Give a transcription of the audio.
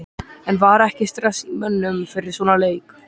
En var ekki stress í mönnum fyrir svona leik?